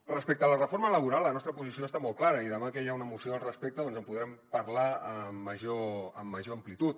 respecte a la reforma laboral la nostra posició és molt clara i demà que hi ha una moció al respecte doncs en podrem parlar amb major amplitud